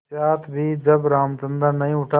पश्चार भी जब रामचंद्र नहीं उठा